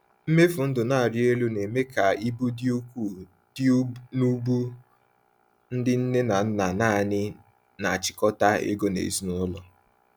Mmefu ndụ na-arị elu na-eme ka ibu dị ukwuu dị n’ubu ndị nne na nna nanị na-achịkọta ego n’ezinụlọ.